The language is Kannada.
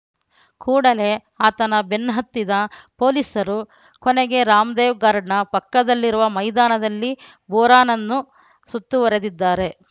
ಕೂಡಲೇ ಆತನ ಬೆನ್ನಹತ್ತಿದ ಪೊಲೀಸರು ಕೊನೆಗೆ ರಾಮದೇವ್‌ ಗಾರ್ಡನ್‌ ಪಕ್ಕದಲ್ಲಿರುವ ಮೈದಾನದಲ್ಲಿ ಬೋರಾನನ್ನು ಸುತ್ತುವರೆದಿದ್ದಾರೆ